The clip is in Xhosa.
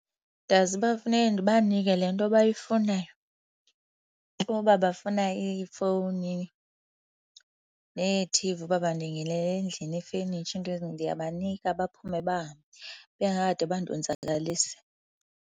Ndazi uba funeka ndibanike le nto bayifunayo. Uba bafuna iifowuni neeT_V, uba bandingenele endlini, nefenitsha, iinto , ndiyabanika baphume bahambe bengakade bandonzakalise.